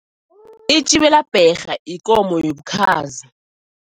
Itjibelabherha ikomo yobukhazi.